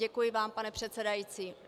Děkuji vám, pane předsedající.